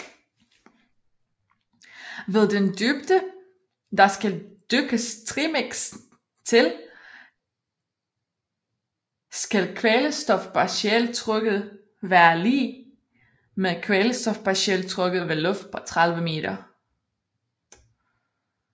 Ved den dybde der skal dykkes trimix til skal kvælstofpartialtrykket være lig med kvælstofpartialtrykket ved luft på 30 meter